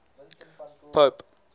pope